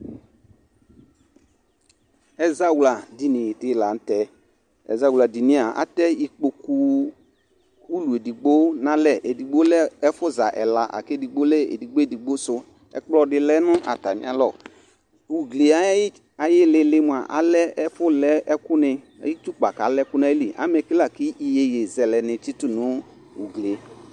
Ɛzawladini dɩ la nʋ tɛ Ɛzawladini yɛ a, atɛ ikpoku ulu edigbo nʋ alɛ Edigbo lɛ ɛfʋza ɛla la kʋ edigbo lɛ edigbo edigbo sʋ Ɛkplɔ dɩ lɛ nʋ atamɩalɔ Ugli yɛ ayʋ ɩɩlɩ ɩɩlɩ mʋa, alɛ ɛfʋlɛ ɛkʋnɩ ayʋ itsukpa kʋ alɛ ɛkʋ nʋ ayili Amɛ ke la kʋ iyeyezɛlɛnɩ tsɩtʋ nʋ ugli yɛ